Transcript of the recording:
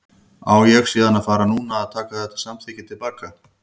Á ég síðan að fara núna að taka þetta samþykki til baka?